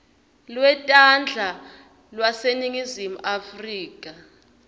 lwetandla lwaseningizimu afrika